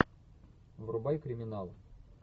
врубай криминал